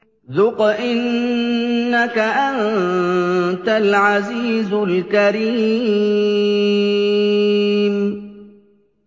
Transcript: ذُقْ إِنَّكَ أَنتَ الْعَزِيزُ الْكَرِيمُ